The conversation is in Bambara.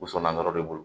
Woson na yɔrɔ de bolo